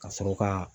Ka sɔrɔ ka